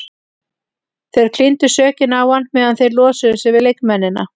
Þeir klíndu sökinni á hann meðan þeir losuðu sig við leikmennina.